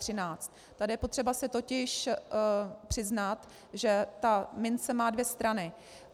Tady je potřeba si totiž přiznat, že ta mince má dvě strany.